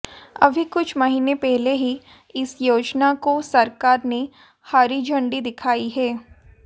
अभी कुछ महीने पहले ही इस योजना को सरकार ने हरी झंडी दिखाई है